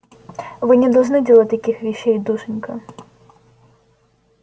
вы не должны делать таких вещей душенька